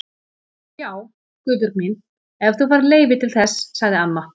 Já, Guðbjörg mín, ef þú færð leyfi til þess sagði amma.